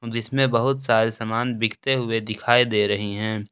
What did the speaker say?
जिसमें बहुत सारे सामान बिकते हुए दिखाई दे रही हैं।